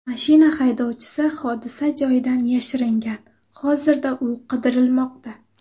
Mashina haydovchisi hodisa joyidan yashiringan, hozirda u qidirilmoqda.